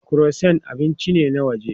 Croissant abinci ne na waje.